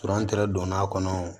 don n'a kɔnɔ